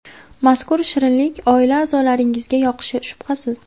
Mazkur shirinlik oila a’zolaringizga yoqishi shubhasiz.